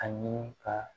Ani ka